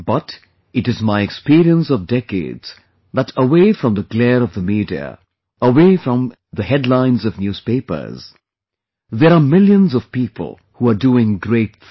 But it is my experience of decades, that away from the glare of the media, away from the headlines of newspapers, there are millions of people who are doing great things